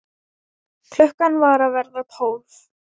Klukkan var að verða tólf.